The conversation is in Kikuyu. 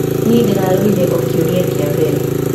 Niĩ ndĩrarorire o kĩũria kĩa mbere